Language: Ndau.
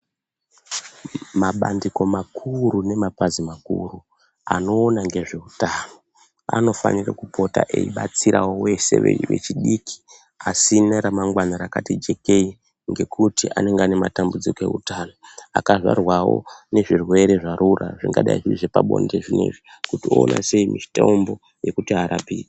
Mabandiko makuru nemapazi makuru anoona ngezveutano anofanira kupota eibatsirawo vese vechidiki asina ramangwana rakati jekei ngekuti anenge aine matambudziko eutano. Akazvarwawo nezvirwre zvarura, zvingadai zviri zvepabonde zvinezvi kuti oona sei mitombo yekuti arapike.